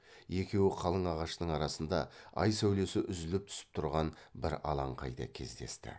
екеуі қалың ағаштың арасында ай сәулесі үзіліп түсіп тұрған бір алаңқайда кездесті